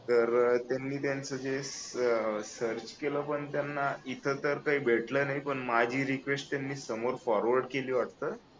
तर त्यांनी त्यांचे जे सर्च केलं पण त्यांना इथं तर काही भेटलं नाही पण माझी रिक्वेस्ट त्यांनी समोर फॉरवर्ड केली वाटतं